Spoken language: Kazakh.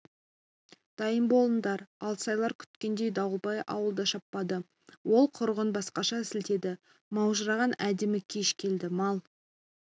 дайын болыңдар алсайлар күткендей дауылбай ауылды шаппады ол құрығын басқаша сілтеді маужыраған әдемі кеш келді мал